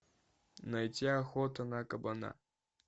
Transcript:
найти охота на кабана